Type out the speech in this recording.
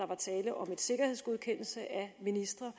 var tale om en sikkerhedsgodkendelse af ministre